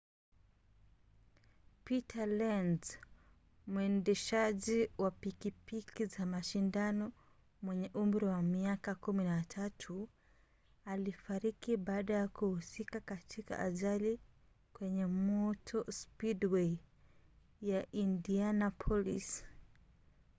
peter lenz mwendeshaji wa pikipiki za mashindano mwenye umri wa miaka 13 alifariki baada ya kuhusika katika ajali kwenye motor speedway ya indianapolis